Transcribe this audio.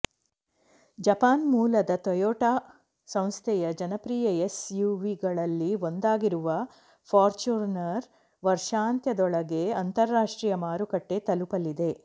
Japan ಮೂಲದ Toyota ಸಂಸ್ಥೆಯ ಜನಪ್ರಿಯ ಎಸ್ ಯುವಿಗಳಲ್ಲಿ ಒಂದಾಗಿರುವ ಫಾರ್ಚ್ಯುನರ್ ವರ್ಷಾಂತ್ಯದೊಳಗೆ ಅಂತರಾಷ್ಟ್ರೀಯ ಮಾರುಕಟ್ಟೆ ತಲುಪಲಿದೆ